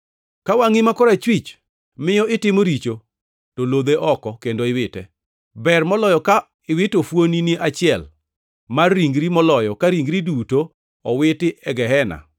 Ka wangʼi ma korachwich miyo itimo richo to lodhe oko kendo iwite. Ber moloyo ka iwito fuon-ni achiel mar ringri moloyo ka ringri duto owiti e gehena.